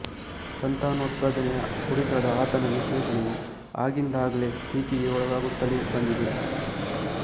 ಸಂತಾನೋತ್ಪಾದನೆಯ ಕುರಿತಾದ ಆತನ ವೀಶ್ಲೇಷಣೆಯು ಆಗಿಂದಾಗ್ಗೆ ಟೀಕೆಗೆ ಒಳಗಾಗುತ್ತಲೇ ಬಂದಿದೆ